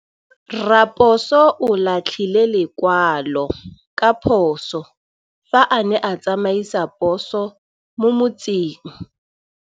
Raposo o latlhie lekwalô ka phosô fa a ne a tsamaisa poso mo motseng.